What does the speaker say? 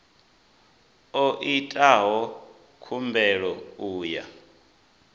o itaho khumbelo u ya